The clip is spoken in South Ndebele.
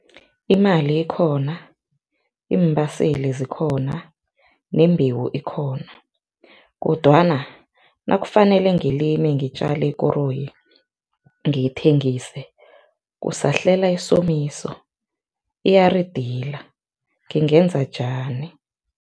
Imali ikhona, iimbaseli zikhona nembhewu ikhona kodwana nakufanele ngilimi ngitjale ikoroyi ngiyithengise, kusahlela isomiso iyaridila, ngingenza njani?